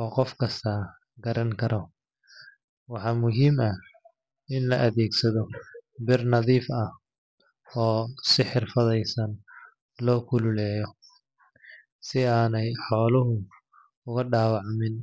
oo qof kasta garan karo. Waxaa muhiim ah in la adeegsado bir nadiif ah oo si xirfadaysan loo kululeeyo, si aanay xooluhu ugu dhaawacmin.